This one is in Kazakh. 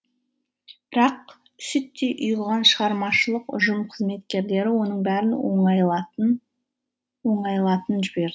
бірақ сүттей ұйыған шығармашылық ұжым қызметкерлері оның бәрін оңайлатын оңайлатын жіберді